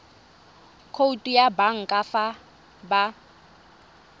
khoutu ya banka fa ba